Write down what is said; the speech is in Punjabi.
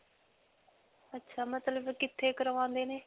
ਅੱਛਾ ਮਤਲਬ ਕਿੱਥੇ ਕਰਵਾਉਂਦੇ ਨੇ?